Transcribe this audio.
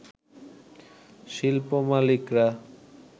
শিল্প মালিকরা